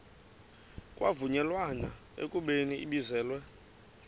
kwavunyelwana ekubeni ibizelwe